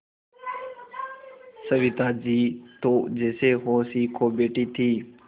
सविता जी तो जैसे होश ही खो बैठी थीं